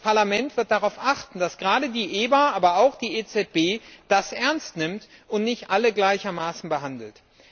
Das Parlament wird darauf achten, dass gerade die EBA, aber auch die EZB das ernst nimmt und nicht alle gleichermaßen behandelt.